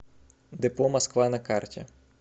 депо москва на карте